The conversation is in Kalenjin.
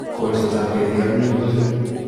Kolsetab ketik ak minutik